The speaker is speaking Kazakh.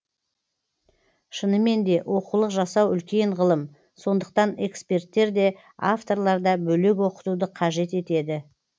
шынымен де оқулық жасау үлкен ғылым сондықтан эксперттер де авторлар да бөлек оқытуды қажет етеді